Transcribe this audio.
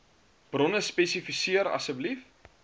bronne spesifiseer asseblief